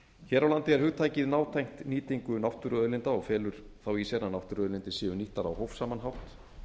hér á landi er hugtakið nátengt nýtingu náttúruauðlinda og felur þá í sér að náttúruauðlindir séu nýttar á hófsaman hátt